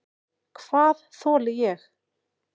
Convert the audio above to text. Hvað þoli ég?